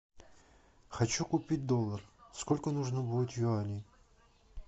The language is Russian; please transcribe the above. хочу купить доллар сколько нужно будет юаней